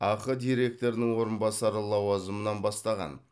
ақ директорының орынбасары лауазымынан бастаған